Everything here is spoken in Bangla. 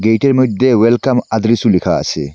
ইটার মইদ্যে ওয়েলকাম আদৃশও লেখা আসে।